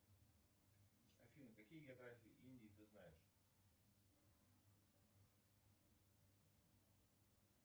афина какие географии индии ты знаешь